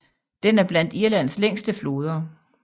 Den er blandt Irlands længste floder